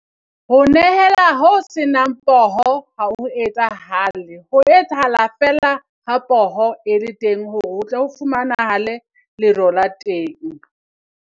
Ho nehela ho senang poho ha ho etsahale, ho etsahala fela ha poho e le teng, hore ho tle ho fumanahale lero la teng.